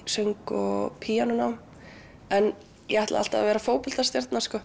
söng og píanónám en ég ætlaði alltaf að vera